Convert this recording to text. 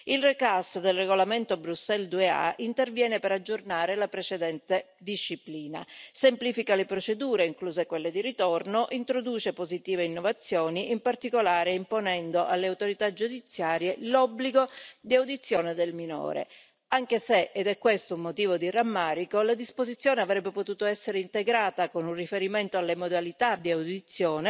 La rifusione del regolamento Bruxelles II bis interviene per aggiornare la precedente disciplina, semplifica le procedure, incluse quelle di ritorno, e introduce positive innovazioni, in particolare imponendo alle autorità giudiziarie l'obbligo di audizione del minore, anche se ed è questo un motivo di rammarico la disposizione avrebbe potuto essere integrata con un riferimento alle modalità di audizione